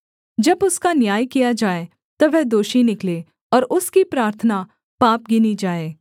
जब उसका न्याय किया जाए तब वह दोषी निकले और उसकी प्रार्थना पाप गिनी जाए